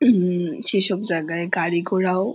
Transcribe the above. হুম -ম সেইসব জায়গায় গাড়িঘোড়াও--